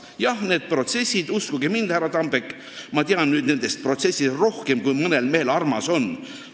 Päts ütles, et uskuge mind, härra Tambek, ma tean nüüd nendest protsessidest rohkem, kui mõnele mehele armas on.